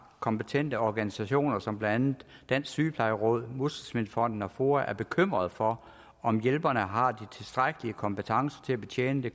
kompetente organisationer som blandt andet dansk sygeplejeråd muskelsvindfonden og foa er bekymrede for om hjælperne har de tilstrækkelige kompetencer til at betjene det